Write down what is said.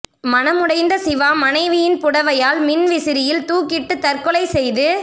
மனமுடைந்த சிவா மனைவியின் புடவையால் மின் விசிறியில் துாக்கிட்டு தற்கொலை செய்து